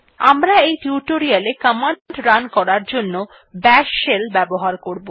আমরা এই tutorial command run করার জন্য বাশ শেল ব্যবহার করব